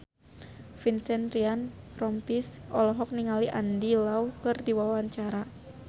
Vincent Ryan Rompies olohok ningali Andy Lau keur diwawancara